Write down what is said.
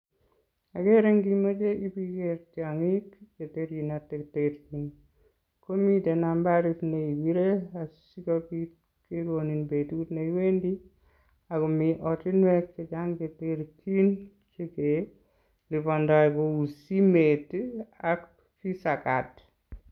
Akere nkimeche ibiker tiong'ik cheterchin ak cheterchin komite nambarit neipire asikobit kekonin betut neiwendi akomi ortinwek chechang cheterchin chekelipondoi kou simet ii ak visa card.